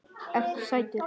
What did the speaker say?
Ertu sætur?